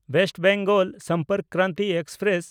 West Bengal Sampark Kranti express